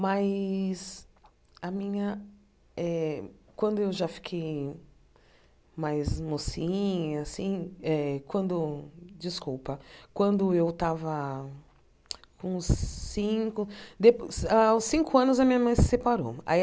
Mas, a minha eh quando eu já fiquei eh mais mocinha assim, eh quando desculpa quando eu estava com cinco dep... Aos cinco anos, a minha mãe se separou aí.